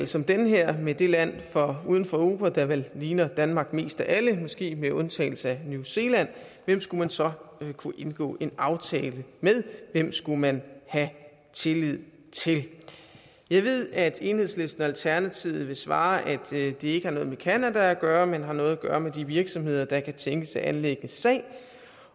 som den her med det land uden for europa der vel ligner danmark mest af alle måske med undtagelse af new zealand hvem skulle man så kunne indgå en aftale med hvem skulle man have tillid til jeg ved at enhedslisten og alternativet vil svare at det ikke har noget med canada at gøre men har noget at gøre med de virksomheder der kan tænkes at anlægge sag